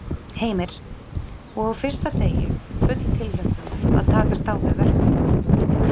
Heimir: Og á fyrsta degi, full tilhlökkunar að takast á við verkefnið?